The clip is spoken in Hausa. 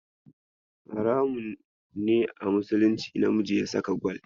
Haramun ne a musulunci namiji ya saka gwal.